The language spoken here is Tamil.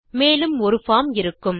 மேலும் ஒரு பார்ம் இருக்கும்